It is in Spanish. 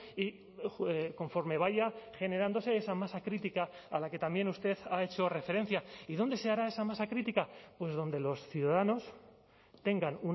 y conforme vaya generándose esa masa crítica a la que también usted ha hecho referencia y dónde se hará esa masa crítica pues donde los ciudadanos tengan